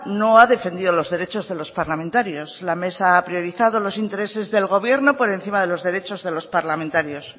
no ha defendido los derechos de los parlamentarios la mesa ha priorizado los intereses del gobierno por encima de los derechos de los parlamentarios